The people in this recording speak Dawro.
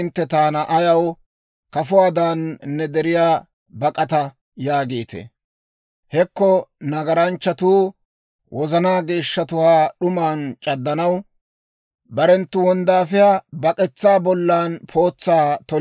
Hekko nagaranchchatuu, wozanaa geeshshatuwaa d'uman c'addanaw, barenttu wonddaafiyaa bak'etsaa bollan pootsaa toliino.